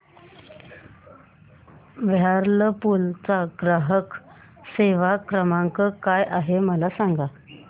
Whirlpool चा ग्राहक सेवा क्रमांक काय आहे मला सांग